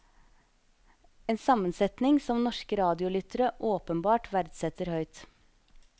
En sammensetning som norske radiolyttere åpenbart verdsetter høyt.